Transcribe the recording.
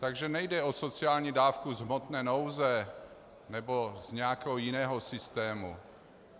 Takže nejde o sociální dávku z hmotné nouze nebo z nějakého jiného systému.